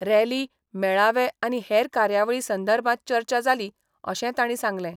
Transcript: Rally, मेळावे आनी हेर कार्यावळी संदर्भात चर्चा जाली अशें तांणी सांगलें.